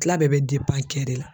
Tila bɛɛ bɛ kɛ de la